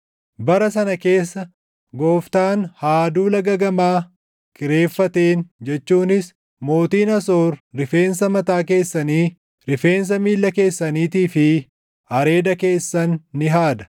Bara sana keessa Gooftaan haaduu laga gamaa kireeffateen jechuunis mootiin Asoor rifeensa mataa keessanii rifeensa miilla keessaniitii fi areeda keessan ni haada.